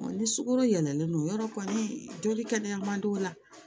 ni sukaro yɛlɛlen don yɔrɔ kɔni joli kɛnɛya man di o la